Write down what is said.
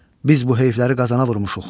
Biz bu heyfləri Qazana vurmuşuq.